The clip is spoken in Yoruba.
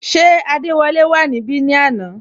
Ṣé adewole wà níbè ni àná?